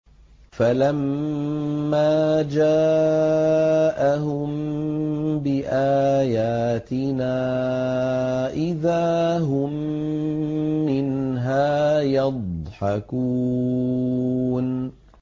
فَلَمَّا جَاءَهُم بِآيَاتِنَا إِذَا هُم مِّنْهَا يَضْحَكُونَ